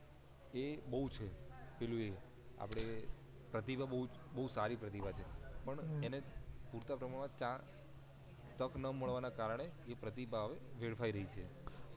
એ બવ છે પેલું એ આપડે એ પ્રતિભા બવ સારી પ્રતિભા છે પણ એને પૂરતા પ્રમાણ માં ત્યાં તક ના મળવા ના કારણે તે પ્રતિભા વેડફાય રહી છે